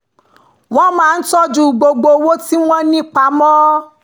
wọ́n máa ń tọ́jú gbogbo owó tí wọ́n ní pamọ́